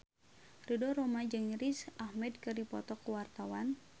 Ridho Roma jeung Riz Ahmed keur dipoto ku wartawan